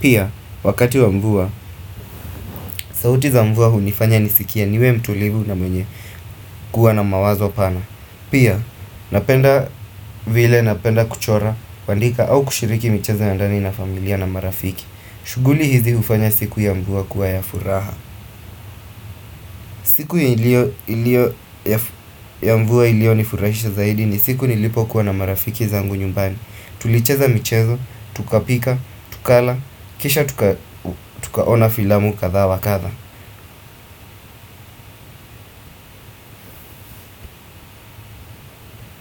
Pia, wakati wa mvua, sauti za mvua hunifanya nisikia niwe mtulivu na mwenye kuwa na mawazo pana Pia, napenda vile napenda kuchora, kundika au kushiriki mchezo ya ndani na familia na marafiki shuguli hizi hufanya siku ya mvua kuwa ya furaha siku ya mvua ilio nifurahisha zaidi ni siku nilipo kuwa na marafiki zangu nyumbani. Tulicheza michezo, tukapika, tukala, kisha tukaona filamu kadhaa wakadha.